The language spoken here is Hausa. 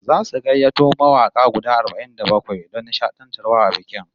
Zasu gayyato mawaka guda arba'in da bakwai don nishadantarwa a bikin